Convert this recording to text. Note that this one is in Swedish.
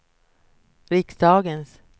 riksdagens